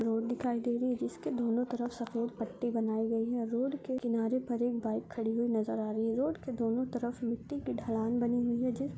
road दिखाई दे रही है जिसके दोनों तरफ सफ़ेद पट्टी बनाई गयी है रोड के किनारे पर एक बाइक खड़ी नजर आ रही है जिसके दोनों तरफ मिट्टी की ढलान बनी हुई है जिस --